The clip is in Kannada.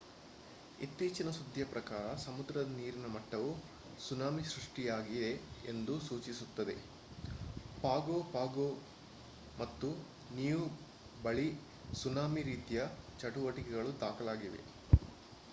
ಇತ್ತೀಚಿನ ಸುದ್ದಿಯ ಪ್ರಕಾರ ಸಮುದ್ರದ ನೀರಿನ ಮಟ್ಟವು ಸುನಾಮಿ ಸೃಷ್ಟಿಯಾಗಿದೆ ಎಂದು ಸೂಚಿಸುತ್ತದೆ ಪಾಗೊ ಪಾಗೊ ಮತ್ತು ನಿಯು ಬಳಿ ಸುನಾಮಿ ರೀತಿಯ ಚಟುವಟಿಕೆಗಳು ದಾಖಲಾಗಿವೆ